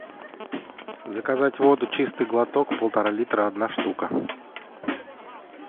заказать воду чистый глоток полтора литра одна штука